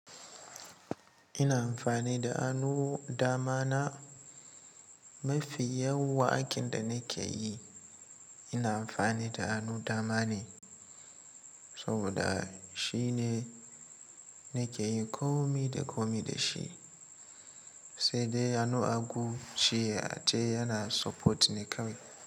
Ina amfani da anu dama na. Mafi yawan aikin da nake yi ina amfani da anu dama ne saboda shine nake yin komi da komi da shi, sai dai anu agu shi ace yana supporting ne kawai.